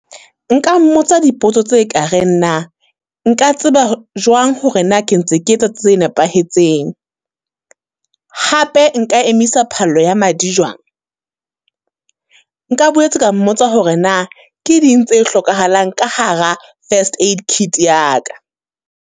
Nka mmotsa dipotso tse kareng na. Nka tseba jwang hore na ke ntse ke etsa tse nepahetseng? Hape nka emisa phallo ya madi jwang? Nka boetse ka mmotsa hore na, ke ding tse hlokahalang ka hara first aid kit ya ka?